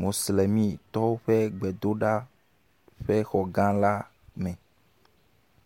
moslemitɔwo ƒe gbedoɖa ƒe xɔ gã la me.